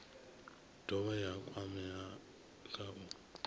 dovha ya kwamea kha u